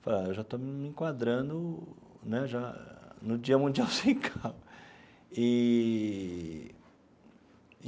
falei ah já estou me enquadrando né já no Dia Mundial Sem Carro eee.